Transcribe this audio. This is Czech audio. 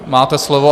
Máte slovo.